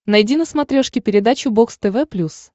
найди на смотрешке передачу бокс тв плюс